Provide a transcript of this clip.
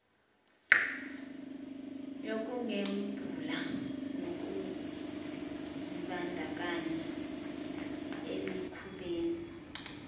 yokugembula nokuzibandakanya emikhubeni